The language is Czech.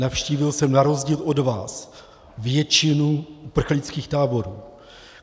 Navštívil jsem na rozdíl od vás většinu uprchlických táborů.